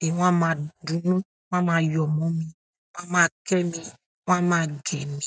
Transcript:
ni wọn a máa dunu, wọn a máa yóò mọ mi, wọ́n a máa ke e mi, wọn a má gee mi.